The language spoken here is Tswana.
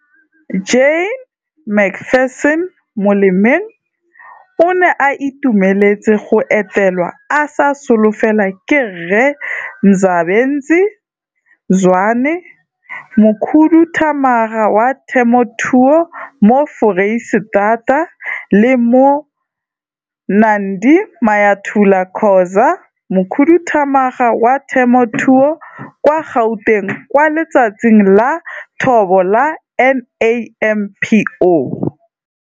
Jane McPherson, molemeng, o ne a itumeletse go etelwa a sa solofela ke Rre Mzabensi Zwane, Mokhuduthamaga wa Temothuo mo Foreisetata le Moh, Nandi Mayathula-Khoza, Mokhuduthamaga wa Temothuo kwa Gauteng, kwa Letsatsing la Thobo la NAMPO.